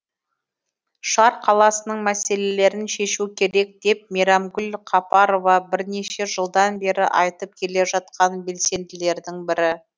шар қаласының мәселелерін шешу керек деп мейрамгүл қапарова бірнеше жылдан бері айтып келе жатқан белсенділердің бірі